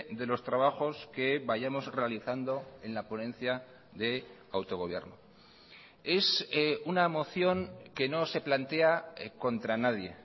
de los trabajos que vayamos realizando en la ponencia de autogobierno es una moción que no se plantea contra nadie